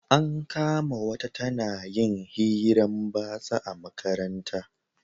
An kama wata ta na yin hiran batsa a makaranta